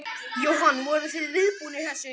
Jóhann: Voruð þið viðbúnir þessu?